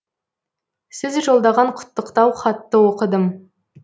сіз жолдаған құттықтау хатты оқыдым